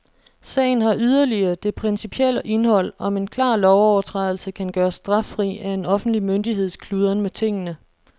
Sagen har yderligere det principielle indhold, om en klar lovovertrædelse kan gøres straffri af en offentlig myndigheds kludren med tingene.